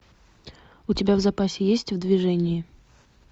у тебя в запасе есть в движении